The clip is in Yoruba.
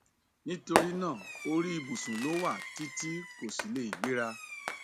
nítorí náà orí ìbùsùn ló wà tí tí kò sì lè gbéra